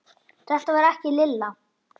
Þetta var ekki Lilla.